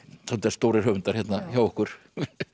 stórir höfundar hjá okkur